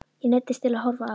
Ég neyddist til að horfa á.